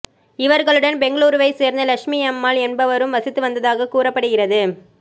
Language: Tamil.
இவர்களுடன் பெங்களூருவைச் சேர்ந்த லட்சுமியம்மாள் என்பவரும் வசித்து வந்ததாக கூறப்படுகிறது